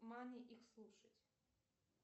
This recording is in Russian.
мани их слушать